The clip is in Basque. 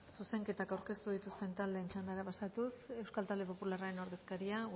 zuzenketa aurkeztu dituzten taldeen txandara pasatuz euskal talde popularraren ordezkaria